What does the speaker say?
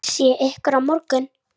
Sé ykkur á morgun.